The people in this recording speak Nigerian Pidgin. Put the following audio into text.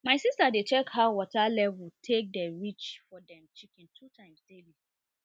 my sister dey check how water level take dey reach for dem chicken two times daily